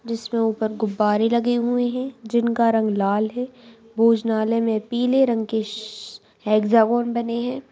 जिसमें ऊपर गुब्बारे लगे हुए हैं जिनका रंग लाल है भोजनलाय में पीले रंग के श बने हैं।